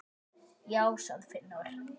Já, sagði Finnur.